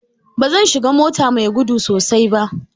Ba zan shiga mota mai gudu sosai ba.